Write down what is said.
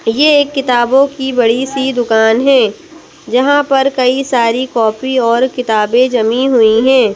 ये एक किताबों की बड़ी सी दुकान है जहाँ पर कई सारी कॉपी और किताबें जमी हुई हैं।